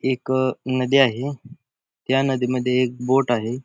एक नदी आहे त्या नदीमध्ये एक बोट आहे.